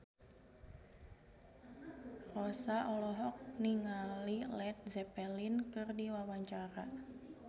Rossa olohok ningali Led Zeppelin keur diwawancara